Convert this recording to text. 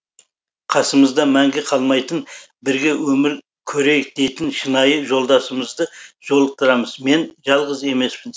қасымыздан мәңгі қалмайтын бірге өмір көрейік дейтін шынайы жолдасымызды жолықтырамыз мен жалғыз емеспін